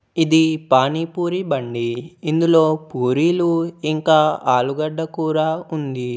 ఇది పానీపూరీ బండి. ఇందులో పూరీలు ఇంకా ఆలుగడ్డ కూర ఉంది.